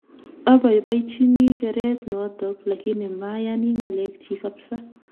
Abaibachini kereet notok lakini mayani ng'alek chiik kapsaa